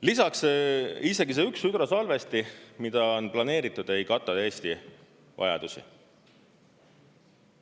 Lisaks, isegi see üks hüdrosalvesti, mida on planeeritud, ei kata Eesti vajadusi.